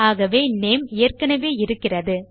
ஆகவே நேம் ஏற்கெனெவே இருக்கிறது